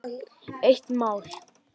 Eitt mál.